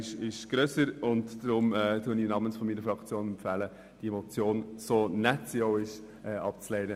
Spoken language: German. Deshalb empfehle ich Ihnen im Namen der Fraktion, dasselbe zu tun, so nett die Motion auch ist.